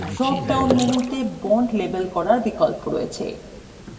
drop down মেনুতে bonds label করার বিকল্প রয়েছে